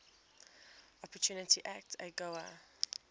opportunity act agoa